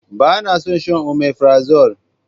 Ba na son shan omefrazole.